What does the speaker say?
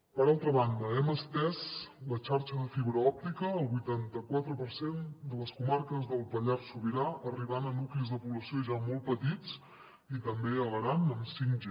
per altra banda hem estès la xarxa de fibra òptica al vuitanta quatre per cent de les comarques del pallars sobirà arribant a nuclis de població ja molt petits i també a l’aran amb 5g